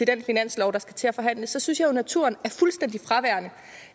den finanslov der skal til at forhandles så synes jeg jo naturen